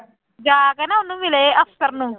ਜਾ ਕੇ ਨਾ ਉਹਨੂੰ ਮਿਲੇ ਅਫ਼ਸਰ ਨੂੰ।